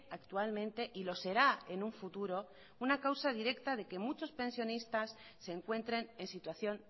actualmente y lo será en un futuro una causa directa de que muchos pensionistas se encuentren en situación